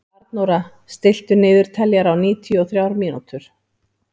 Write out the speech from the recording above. Arnóra, stilltu niðurteljara á níutíu og þrjár mínútur.